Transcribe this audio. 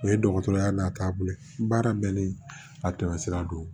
O ye dɔgɔtɔrɔya n'a taabolo ye baara bɛɛ ni a tɛmɛ sira don